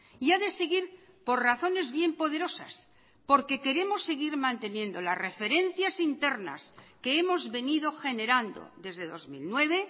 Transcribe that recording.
y ha de seguir por razones bien poderosas porque queremos seguir manteniendo las referencias internas que hemos venido generando desde dos mil nueve